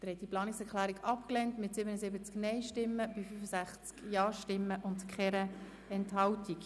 Sie haben die Planungserklärung abgelehnt mit 77 Nein- zu 65 Ja-Stimmen bei 0 Enthaltungen.